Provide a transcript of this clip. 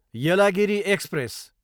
Yelagiri express